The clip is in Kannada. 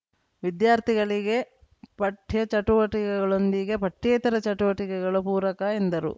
ವಿದ್ಯಾರ್ಥಿಗಳಿಗೆ ಪಠ್ಯ ಚಟುವಟಿಕೆಗಳೊಂದಿಗೆ ಪಠ್ಯೇತರ ಚಟುವಟಿಕೆಗಳು ಪೂರಕ ಎಂದರು